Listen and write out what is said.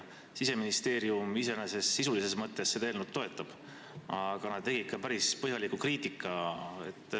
Siseministeerium iseenesest sisulises mõttes seda eelnõu toetab, aga nad tegid ka päris põhjalikku kriitikat.